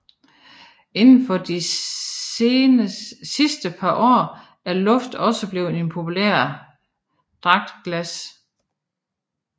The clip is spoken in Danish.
Inden for de sidste par år er luft også blevet en populær dragtgas